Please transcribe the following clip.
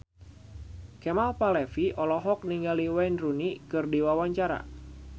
Kemal Palevi olohok ningali Wayne Rooney keur diwawancara